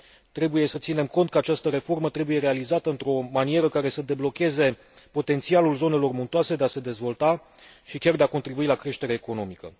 Trebuie să ținem cont că această reformă trebuie realizată într o manieră care să deblocheze potențialul zonelor muntoase de a se dezvolta și chiar de a contribui la creșterea economică.